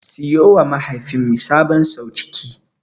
Siyowa mahaifinmu sabon sauciki.